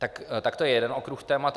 Tak to je jeden okruh témat.